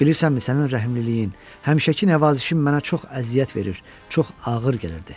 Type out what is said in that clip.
Bilirsənmi sənin rəhmliliyin, həmişəki nəvazişin mənə çox əziyyət verir, çox ağır gəlirdi.